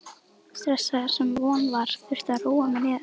stressaður, sem von var, þurfti að róa mig niður.